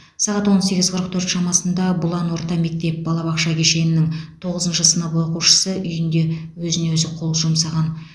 сағат он сегіз қырық төрт шамасында бұлан орта мектеп балабақша кешенінің тоғызыншы сынып оқушысы үйінде өзіне өзі қол жұмсаған